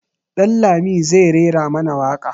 Dan lami zai rera mana waƙa.